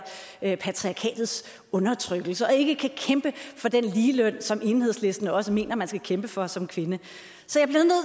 patriarkatets undertrykkelse og som ikke kan kæmpe for den ligeløn som enhedslisten også mener man kan kæmpe for som kvinde